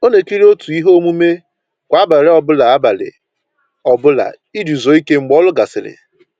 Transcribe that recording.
Ọ na ekiri otu ihe omume kwa abalị ọ bụla abalị ọ bụla iji zuo ike mgbe ọrụ gasịrị